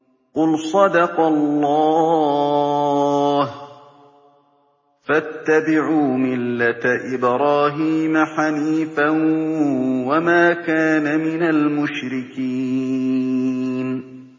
قُلْ صَدَقَ اللَّهُ ۗ فَاتَّبِعُوا مِلَّةَ إِبْرَاهِيمَ حَنِيفًا وَمَا كَانَ مِنَ الْمُشْرِكِينَ